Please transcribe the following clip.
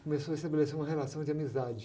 Começou a estabelecer uma relação de amizade.